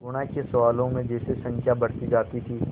गुणा के सवालों में जैसे संख्या बढ़ती जाती थी